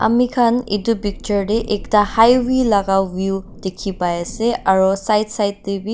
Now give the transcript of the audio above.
amikhan edu picture tae ekta highway laka view dikhipaiase aro side side tae--